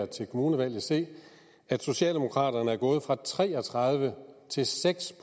til kommunevalget se at socialdemokraterne er gået fra tre og tredive til seks